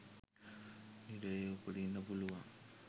නිරයේ උපදින්න පුළුවන්.